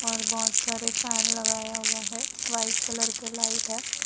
और बहोत सारे फैन लगाया हुआ है वाइट कलर के लाइट है।